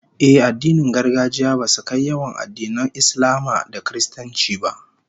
Ehh, addinin gargajiya basu kai yawan addinan Islama da Kiristanci ba